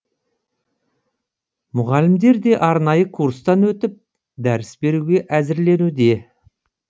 мұғалімдер де арнайы курстан өтіп дәріс беруге әзірленуде